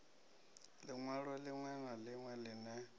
linwalo linwe na linwe line